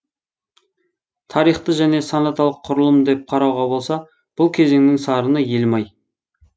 тарихты және сонаталық құрылым деп қарауға болса бұл кезеңнің сарыны елім ай